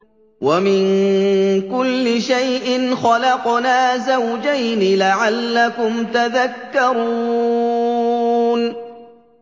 وَمِن كُلِّ شَيْءٍ خَلَقْنَا زَوْجَيْنِ لَعَلَّكُمْ تَذَكَّرُونَ